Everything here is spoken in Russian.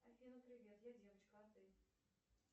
афина привет я девочка а ты